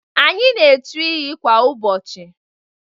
Anyị na echu iyi kwa ụbọchị.